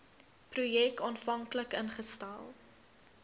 projek aanvanklik ingestel